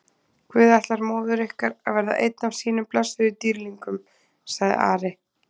Guð ætlar móður ykkar að verða einn af sínum blessuðum dýrlingum, sagði Ari.